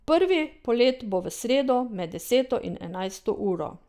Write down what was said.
Prvi polet bo v sredo med deseto in enajsto uro.